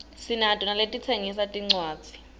sinato naletitsengisa tincuadzi